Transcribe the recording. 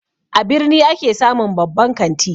A birni ake samun babban kanti